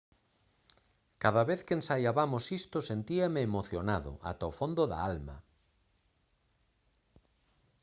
«cada vez que ensaiabamos isto sentíame emocionado ata o fondo da alma»